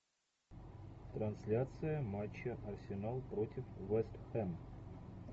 трансляция матча арсенал против вест хэм